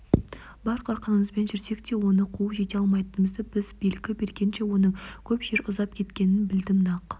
бар қарқынымызбен жүрсек те оны қуып жете алмайтынымызды біз белгі бергенше оның көп жер ұзап кететінін білдім нақ